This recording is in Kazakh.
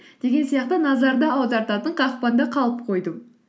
деген сияқты назарды аудартатын қақпанда қалып қойдым